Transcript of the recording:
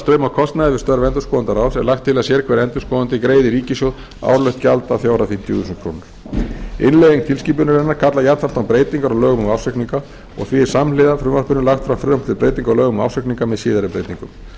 kostnaði við störf endurskoðendaráðs er lagt til að sérhver endurskoðandi greiði í ríkissjóð árlegt gjald að fjárhæð fimmtíu þúsund krónur innleiðing tilskipunarinnar kallar jafnframt á breytingar á lögum um ársreikninga og því er samhliða frumvarpinu lagt fram frumvarp til breytinga á lögum um ársreikninga með síðari breytingum